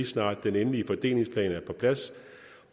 snart den endelige fordelingsplan er på plads